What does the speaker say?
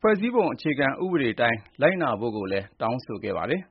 ဖွဲ့စည်းပုံအခြေခံဥပဒေအတိုင်း လိုက်နာဖို့ကိုလည်း တောင်းဆိုခဲ့ကြပါတယ်။